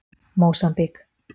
Mósambík